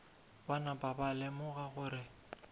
ba napa ba lemoga gore